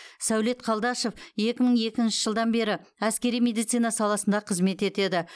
сәулет қалдашов екі мың екінші жылдан бері әскери медицина саласында қызмет етеді